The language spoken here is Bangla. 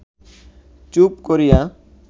চুপ করিয়া